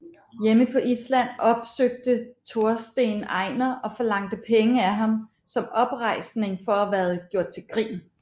Hjemme på Island opsøgte Torsten Einar og forlangte penge af ham som oprejsning for at være gjort til grin